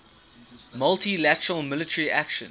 multi lateral military action